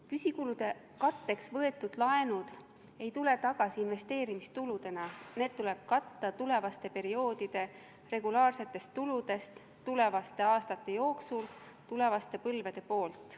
Püsikulude katteks võetud laenud ei tule tagasi investeerimistuludena, need tuleb katta tulevaste perioodide regulaarsetest tuludest, tulevaste aastate jooksul tulevaste põlvede poolt.